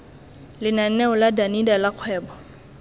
lenaneo la danida la kgwebo